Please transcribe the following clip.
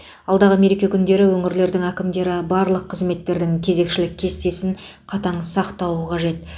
алдағы мереке күндері өңірлердің әкімдері барлық қызметтердің кезекшілік кестесін қатаң сақтауы қажет